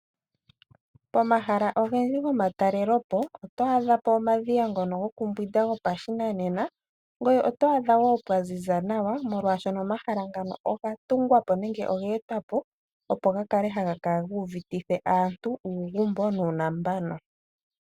Pomahala ogendji gomatalelopo oto adha po omadhiya ngono gokumbwinda gopashinanena . Oto adha wo pwaziza nawa molwaashono omahala ngano oga tungwa po nenge oge etwa po opo gakale haga kala gu uvitithe aantu uugumbo nuunambano.